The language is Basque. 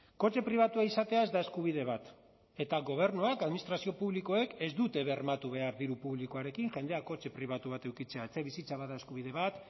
kotxe pribatua izatea ez da eskubide bat eta gobernuak administrazio publikoek ez dute bermatu behar diru publikoarekin jendea kotxe pribatu bat edukitzea etxebizitza bada eskubide bat